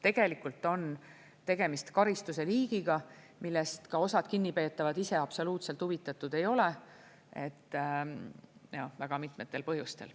Tegelikult on tegemist karistuse liigiga, millest osad kinnipeetavad ise absoluutselt huvitatud ei ole, seda väga mitmetel põhjustel.